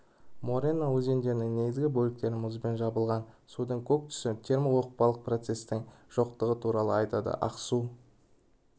морена өзендерінің негізгі бөліктері мұзбен жабылған судың көк түсі термооқпалық процесстің жоқтығы туралы айтады аксу